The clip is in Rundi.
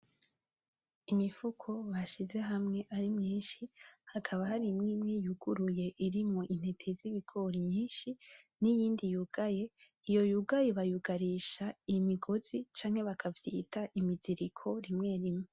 Imifuko bashize hamwe ari myinshi hakaba har'imwimwe yuguruye irimwo intete z'ibigori nyinshi n'iyindi yugaye, iyo yugaye bayugarisha imigozi canke bakavyita imiziriko rimwe rimwe.